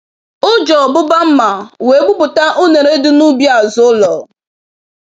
Oji ọbụba mma wee gbupụta unere dị n'ubi azụ ụlọ.